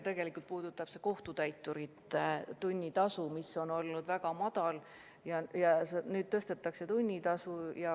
Tegelikult puudutab see kohtutäiturite tunnitasu, mis on olnud väga madal, ja nüüd tunnitasu tõstetakse.